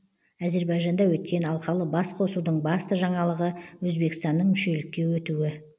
әзербайжанда өткен алқалы басқосудың басты жаңалығы өзбекстанның мүшелікке өтуі